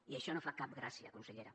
i això no fa cap gràcia consellera